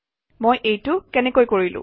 মই এইটো কেনেকৈ কৰিলো